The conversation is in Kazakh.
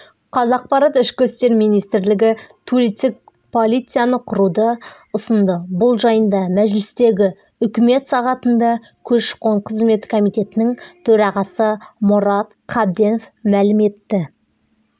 қазақпарат ішкі істер министрлігі туристік полицияны құруды ұсынды бұл жайында мәжілістегі үкімет сағатында көші-қон қызметі комитетінің төрағасы мұрат қабденов мәлім етті